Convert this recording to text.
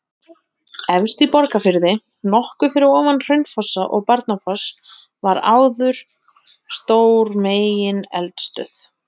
Hætt við vegna neyðarástands